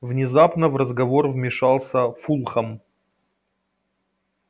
внезапно в разговор вмешался фулхам